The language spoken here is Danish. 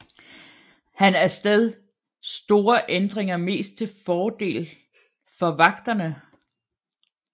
Han af sted store ændringer mest til fordel for vagterne